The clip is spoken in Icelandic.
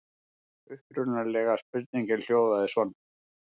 Upprunalega spurningin hljóðaði svona: